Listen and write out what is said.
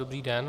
Dobrý den.